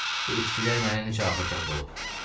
Bu itkilər mənə necə ağır dərd olub.